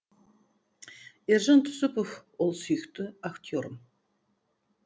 ержан тусупов ол сүйікті актерім